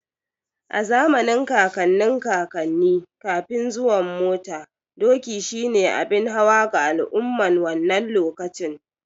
A zamanin kakannin kakanni, Kafin zuwan mota, doki shi ne abin hawa ga al'umman wannan lokacin.